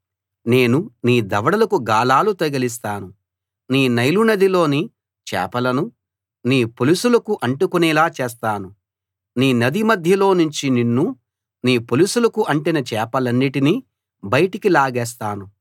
నేను నీ దవడకు గాలాలు తగిలిస్తాను నీ నైలు నదిలోని చేపలను నీ పొలుసులకు అంటుకునేలా చేస్తాను నీ నది మధ్యలో నుంచి నిన్నూ నీ పొలుసులకు అంటిన చేపలన్నిటినీ బయటికి లాగేస్తాను